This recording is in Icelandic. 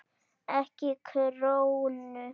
EKKI KRÓNU?